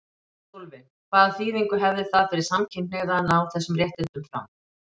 Sólveig: Hvaða þýðingu hefði það fyrir samkynhneigða að ná þessum réttindum fram?